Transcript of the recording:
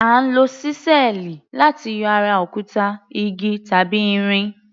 À ń lo ṣísẹ́ẹ̀lì láti yọ ara òkúta, igi tàbí irin.